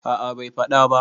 a a Bai faɗa ba